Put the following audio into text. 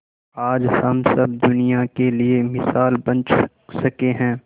आज हम सब दुनिया के लिए मिसाल बन सके है